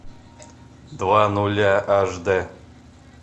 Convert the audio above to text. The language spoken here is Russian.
два нуля аш дэ